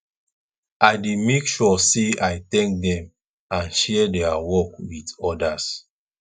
i dey make sure say i thank dem and share dia work with odas